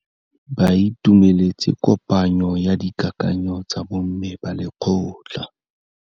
Ba itumeletse kôpanyo ya dikakanyô tsa bo mme ba lekgotla.